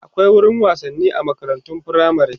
akwai wurin wasanni a makarantun firamare